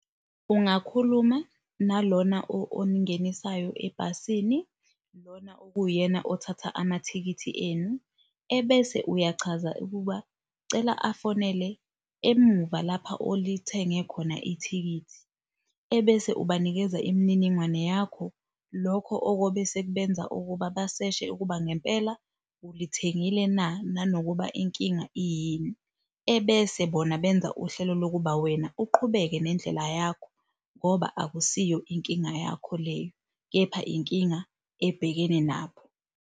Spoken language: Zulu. Ungakhuluma nalona oningenisayo ebhasini lona okuwuyena othatha amathikithi enu, ebese uyachaza ukuba cela afonele emuva lapha olithenge khona ithikithi, ebese ubanikeza imininingwane yakho, lokho okobe sekubenza ukuba baseshe ukuba ngempela ulithengile na nanokuba inkinga iyini, ebese bona benza uhlelo lokuba wena uqhubeke nendlela yakho ngoba akusiyo inkinga yakho leyo, kepha inkinga ebhekene nabo.